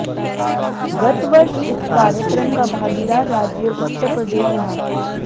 गत वर्ष इस कार्यक्रम का भागीदार राज्य उत्तर प्रदेश रहा